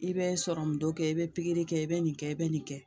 I bɛ sɔrɔmu dɔ kɛ i bɛ pikiri kɛ i bɛ nin kɛ i bɛ nin kɛ